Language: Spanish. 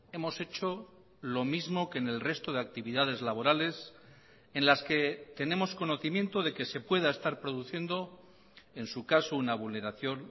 hemos hecho lo mismo que en el resto de actividades laborales en las que tenemos conocimiento de que se pueda estar produciendo en su caso una vulneración